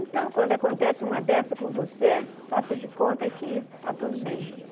Então, quando acontece uma dessa com você, faça de conta que está tudo bem.